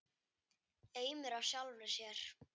Eimur af sjálfri sér.